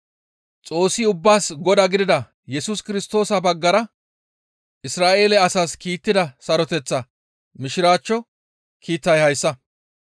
Xoossi ubbaas Godaa gidida Yesus Kirstoosa baggara Isra7eele asas kiittida saroteththa Mishiraachcho kiitay hayssa.